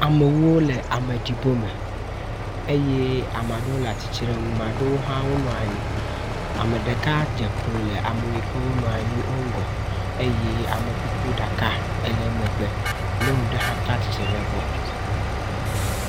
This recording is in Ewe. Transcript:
Amewo le ameɖibɔme eye ameaɖewo le atsitre nu, 'm'aɖewo hã nɔ anyi. Ame ɖeka dze klo le ame ɖeka yike wonɔ anyi wo ŋgɔ eye amekukuɖaka ele emegbe. Nyɔnu ɖe hã ta atsitre le egbɔ.